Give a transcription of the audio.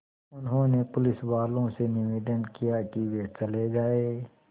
उन्होंने पुलिसवालों से निवेदन किया कि वे चले जाएँ